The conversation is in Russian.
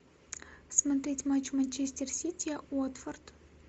смотреть матч манчестер сити уотфорд